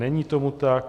Není tomu tak.